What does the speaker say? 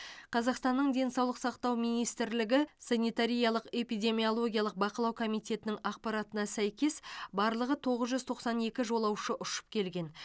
қазақстанның денсаулық сақтау министрлігі санитариялық эпидемиологиялық бақылау комитетінің ақпаратына сәйкес барлығы тоғыз жүз тоқсан екі жолаушы ұшып келген